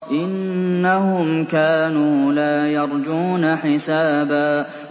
إِنَّهُمْ كَانُوا لَا يَرْجُونَ حِسَابًا